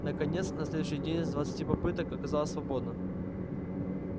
наконец на следующий день с двадцати попытки оказалось свободно